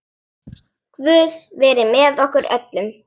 Guð veri með okkur öllum.